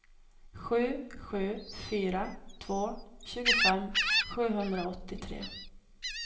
sju sju fyra två tjugofem sjuhundraåttiotre